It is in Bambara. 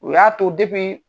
O y'a to